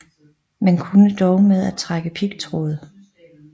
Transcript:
Man kunne dog med at trække pigtråd